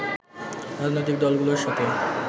রাজনৈতিক দলগুলোর সাথে